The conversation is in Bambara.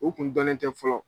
U kun dɔnnen tɛ fɔlɔ.